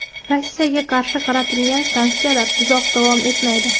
Rossiyaga qarshi qaratilgan sanksiyalar uzoq davom etmaydi.